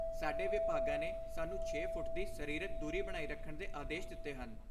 ਸਾਡੇ ਵਿਭਾਗਾਂ ਨੇ ਸਾਨੂੰ ਛੇ ਫੁੱਟ ਦੀ ਸਰੀਰਕ ਦੂਰੀ ਬਣਾਈ ਰੱਖਣ ਦੇ ਆਦੇਸ਼ ਦਿੱਤੇ ਹਨ।